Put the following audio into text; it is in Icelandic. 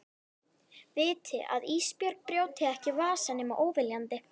Viti að Ísbjörg brjóti ekki vasa nema óviljandi.